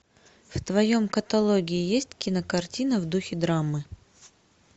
в твоем каталоге есть кинокартина в духе драмы